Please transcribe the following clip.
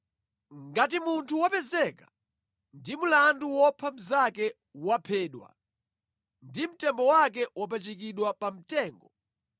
Ngati munthu wopezeka ndi mlandu wopha mnzake waphedwa ndipo mtembo wake wapachikidwa pamtengo,